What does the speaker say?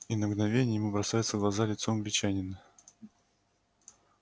и на мгновение ему бросается в глаза лицо англичанина